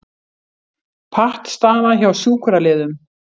Pattstaða hjá sjúkraliðum